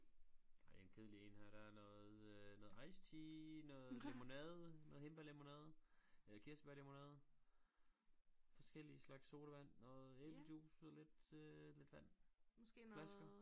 Ej det en kedelig en her der er noget øh noget ice tea noget lemonade noget hindbærlemonade kirsebær lemonade forskellige slags sodavand noget æblejuice og lidt øh lidt vand flasker